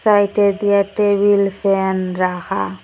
সাইডে দিয়ে table fan রাখা।